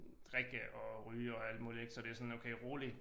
Drikke og ryge og alt muligt ik så det sådan rolig